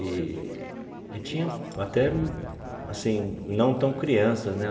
Eee e tinha até, assim, não tão crianças, né?